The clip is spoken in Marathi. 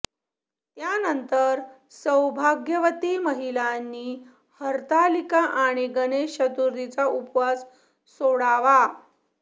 त्यानंतर सौभाग्यवती महिलांनी हरतालिका आणि गणेश चतुर्थीचा उपवास सोडावा